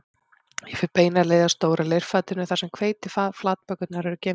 Ég fer beina leið að stóra leirfatinu þar sem hveitiflatbökurnar eru geymdar